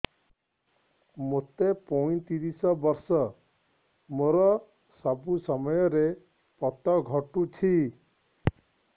ମୋତେ ପଇଂତିରିଶ ବର୍ଷ ମୋର ସବୁ ସମୟରେ ପତ ଘଟୁଛି